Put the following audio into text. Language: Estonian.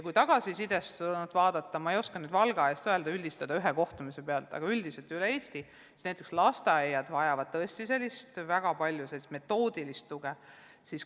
Kui tagasisidest lähtuda, siis ma ei oska nüüd Valgas toimunud ühe kohtumise alusel üldistada, aga üldiselt üle Eesti vajavad lasteaiad tõesti väga palju metoodilist tuge.